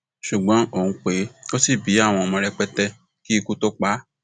ṣùgbọn òun pé ó ṣì bí àwọn ọmọ rẹpẹtẹ kí ikú tóo pa á